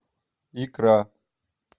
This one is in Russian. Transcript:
икра